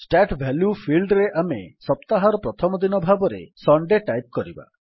start value ଫିଲ୍ଡରେ ଆମେ ସପ୍ତାହର ପ୍ରଥମ ଦିନ ଭାବରେ ସୁଣ୍ଡେ ଟାଇପ୍ କରିବା